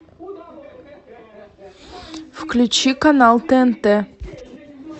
включи канал тнт